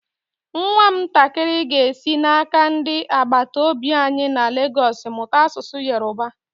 Nwam ntakịrị ga-esi n'aka ndị agbataobi anyi na Lagos mụta asụsụ Yorùbá.